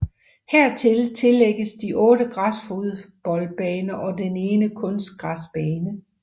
Hertil tillægges de 8 græsfodboldbaner og den ene kunstgræsbane